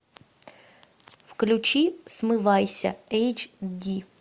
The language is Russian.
включи смывайся эйч ди